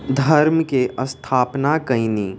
धर्म के अस्थापना कैनी।